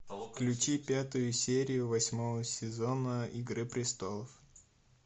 включи пятую серию восьмого сезона игры престолов